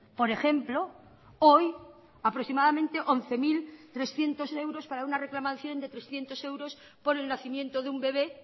por ejemplo hoy aproximadamente once mil trescientos euros para una reclamación de trescientos euros por el nacimiento de un bebé